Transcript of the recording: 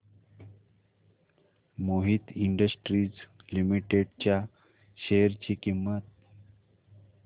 Mohit Industries Limited च्या share ची किंमत